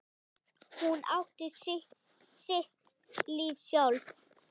Hún átti sitt líf sjálf.